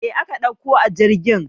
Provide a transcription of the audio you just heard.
Mai aka ɗauko a jirgin?